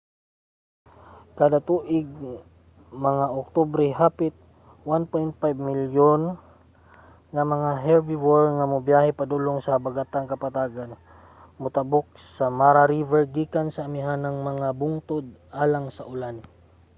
kada tuig mga oktubre hapit 1.5 milyon nga mga herbivore ang mobiyahe padulong sa habagatang kapatagan motabok sa mara river gikan sa amihanang mga bungtod alang sa ulan